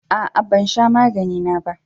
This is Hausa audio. A'a, ban sha magani na ba.